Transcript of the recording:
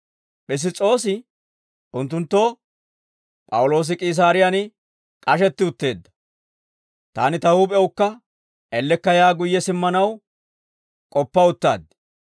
Piss's'oosi unttunttoo, «P'awuloosi K'iisaariyaan k'ashetti utteedda; taani ta huup'ewukka ellekka yaa guyye simmanaw k'oppa uttaad.